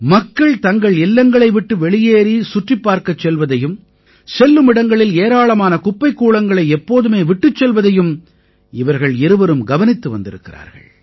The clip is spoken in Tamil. மக்கள் தங்கள் இல்லங்களை விட்டு வெளியேறி சுற்றிப் பார்க்கச் செல்வதையும் செல்லுமிடங்களில் ஏராளமான குப்பைக் கூளங்களை எப்போதுமே விட்டுச் செல்வதையும் இவர்கள் இருவரும் கவனித்து வந்திருக்கிறார்கள்